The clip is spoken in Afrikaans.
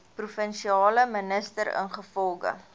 provinsiale minister ingevolge